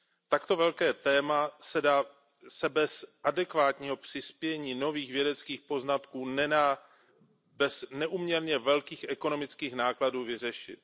Takto velké téma se bez adekvátního přispění nových vědeckých poznatků nedá bez neúměrně velkých ekonomických nákladů vyřešit.